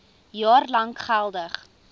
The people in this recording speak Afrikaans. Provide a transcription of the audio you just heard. jaar lank geldig